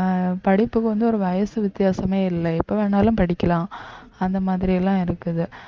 அஹ் படிப்புக்கு வந்து ஒரு வயசு வித்தியாசமே இல்லை எப்ப வேணாலும் படிக்கலாம் அந்த மாதிரி எல்லாம் இருக்குது